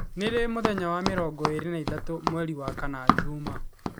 Nĩ ri mũthenya wa mĩrongo ĩĩrĩ na ĩtatũ mweri wa kana juma